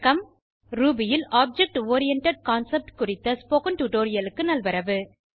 Ruby ல் object oriented concept குறித்த spoken டுடோரியலுக்கு நல்வரவு